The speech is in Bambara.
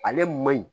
Ale man ɲi